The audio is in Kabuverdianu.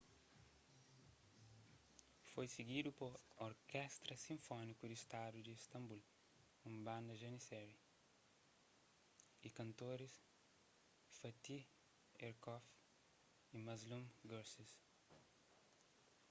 foi sigidu pa orkestra sinfóniku di stadu di istambul un banda janissary y kantoris fatih erkoç y müslüm gürses